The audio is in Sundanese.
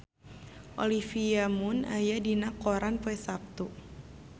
Olivia Munn aya dina koran poe Saptu